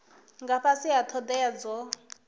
nga fhasi ha thodea dzo